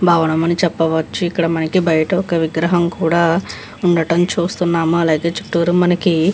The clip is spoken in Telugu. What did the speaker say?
భవనం అని చెప్పవచ్చు ఇక్కడ మనకి బయిట ఒక విగ్రహం కూడా ఉండడం చూస్తున్నాం. అలాగే చుటూరు మనకి --